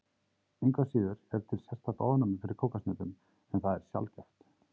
Engu að síður er til sérstakt ofnæmi fyrir kókoshnetum en það er sjaldgæft.